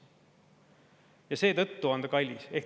Ja seetõttu see on kallis.